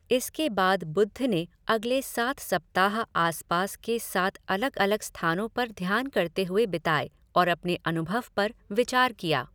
इसके बाद बुद्ध ने अगले सात सप्ताह आसपास के सात अलग अलग स्थानों पर ध्यान करते हुए बिताए और अपने अनुभव पर विचार किया।